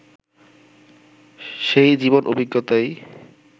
সেই জীবন-অভিজ্ঞতাই